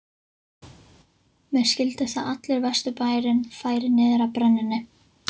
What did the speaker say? Mér skildist að allur Vesturbærinn færi niður að brennunni.